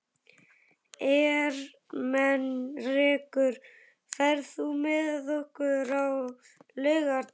Ermenrekur, ferð þú með okkur á laugardaginn?